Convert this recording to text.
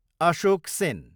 Ashok Sen